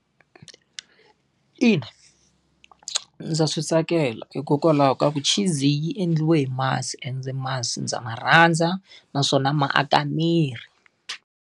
Ina, ndza swi tsakela hikokwalaho ka ku chizi yi endliwe hi masi ende masi ndza ma rhandza, naswona ma aka miri.